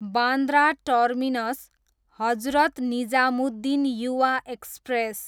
Bandra terminus, Hazrat Nizamuddin Yuva express